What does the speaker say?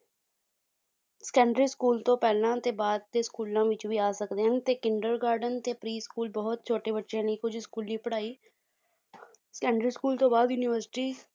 secondary school ਤੋਂ ਪਹਿਲਾਂ ਤੇ ਬਾਅਦ ਦੇ ਸਕੂਲਾਂ ਵਿੱਚ ਵੀ ਆ ਸਕਦੇ ਹਨ, ਤੇ ਕਿੰਡਰ ਗਾਰਡਨ ਤੇ pre school ਬਹੁਤ ਛੋਟੇ ਬੱਚਿਆਂ ਲਈ ਕੁੱਝ ਸਕੂਲੀ ਪੜ੍ਹਾਈ standard school ਤੋਂ ਬਾਅਦ university